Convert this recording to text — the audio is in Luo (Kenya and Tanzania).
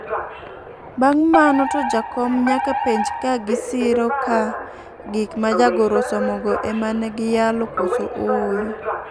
Bang' mano to jakom nyaka penj ka gisiro ka gik ma jagoro osomogo ema ne giyalo koso ooyo.